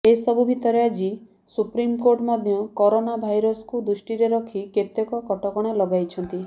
ଏସବୁ ଭିତରେ ଆଜି ସୁପ୍ରିମକୋର୍ଟ ମଧ୍ୟ କରୋନା ଭାଇରସକୁ ଦୃଷ୍ଟିରେ ରଖି କେତେକ କଟକଣା ଲଗାଇଛନ୍ତି